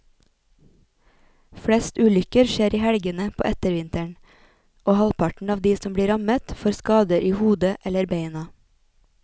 Flest ulykker skjer i helgene på ettervinteren, og halvparten av de som blir rammet får skader i hodet eller beina.